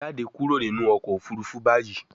jáde kúrò nínú ọkọ̀ òfurufú bayí